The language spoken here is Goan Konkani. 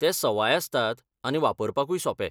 ते सवाय आसतात आनी वापरपाकूय सोपे.